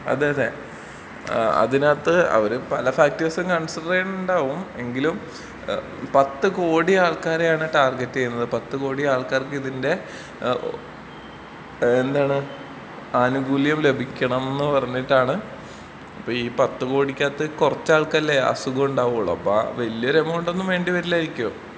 അതെ അതേ ഏഹ് അതിനകത്ത് അവര് പല ഫാക്റ്റാർസും കൺസിഡർ ചെയ്യ്ണുണ്ടാവും. എങ്കിലും ഏഹ് പത്ത് കോടി ആൾക്കാരെയാണ് ടാർഗറ്റ് ചെയ്യുന്നത് പത്ത് കോടി ആൾക്കാർക്ക് ഇതിന്റെ ഏഹ് എന്താണ് ആനുകൂല്യം ലഭിക്കണം എന്ന് പറഞ്ഞിട്ടാണ്.അപ്പൊ ഈ പത്ത് കോടിക്കകത്ത് കൊറച്ച് ആൾക്കാർക്കല്ലേ അസുഖം ഉണ്ടാവൊള്ളൂ. അപ്പൊ ആ വല്ല്യൊരു എമൗണ്ട് ഒന്നും വേണ്ടി വരില്ലായിരിക്കും.